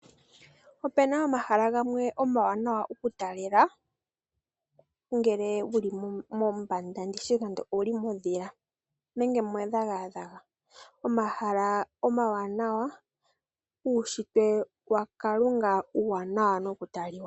Opu na omahala gamwe omawanawa kutalelwa ngele wu li mombanda, ndi tye nande wu li mondhila nenge medhagadhaga. Omahala omawanawa, uunshitwe waKalunga uuwanawa nokutaliwa.